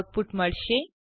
output મળશે